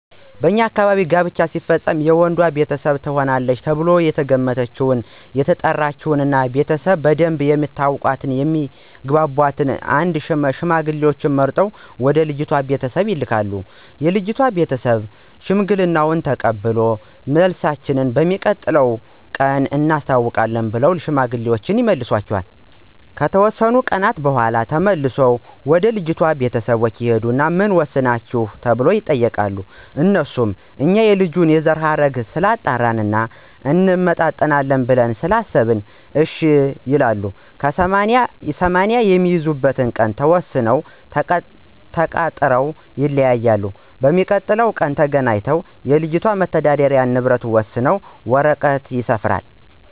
በኛ አካባቢ ጋብቻ ሲፈፀም መጀመሪያ የወንዱ ቤተሰቦች ትሆናለች ተብላ የተገመተችውን እና የተጠናችውን ልጅ ቤተሰቦቾን በደንብ የሚተዋወቅ እና የሚግባባቸውን አንድ ሽማግሌ ተመርጦ ወደ ልጅቷ ቤተሰቦች ይላካን ይህ ሽማግሌ የወንዱንም ቤተሰቦች እስከነዘራቸው ጠቅሶ የሚያስረዳ እና የሚያግባባ መሆን አለበት። ከዚያ ለልጅቷ ቤተሰቦች እንዲህ ይላቸዋል "አቶ እገሌ ልጅህን ለልጀ ብሎሀል"ብሎ ይነግራቸዋል የልጅቷ ቤተሰቦችም እሽ እናስብበት ቀን ይሰጠን ብለው ይልኩታል። ከተወሰነ ቀን በኋላ ተመልሶ ወደ ልጅቷ ቤተሰቦች ይሂድና ምን ወሰናችሁ ወይ ብሎ ይጠይቃቸዋል? አነሱም እኛ የልጁን የዘረሀረግ ስላጣራን እና እንመጣጠናለን ብለን ስላሰበን እሽ ይሉታል። ከዚያ 80 የሚይዙበትን ቀን ተወሳስነውና ተቃጥረው ይለያያሉ። በተቀጣጠሩበት ቀን ተገናኝተው የልጆችን የመተዳደሪ ንብረት ወሰነው በወረቀት ያሰፍራሉ።